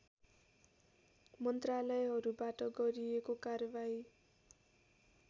मन्त्रालयहरूबाट गरिएको कारवाही